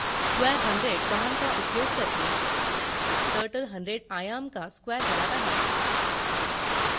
square 100 command का उपयोग करके turtle 100 आयाम का square बनाता है